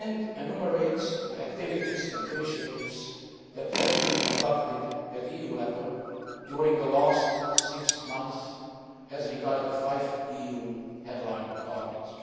It also lists the activities and initiatives that have been conducted at EU level in the last six months as regards the five EU headline targets.